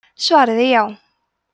svarið er já